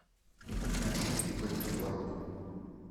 включи у каких ворот